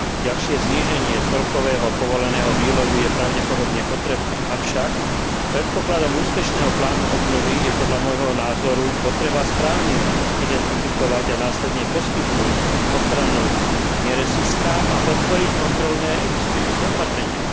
Ďalšie zníženie celkového povoleného výlovu je pravdepodobne potrebné, avšak predpokladom úspešného plánu obnovy je podľa môjho názoru potreba správne identifikovať a následne poskytnúť ochranu neresiskám a podporiť kontrolné existujúce opatrenia.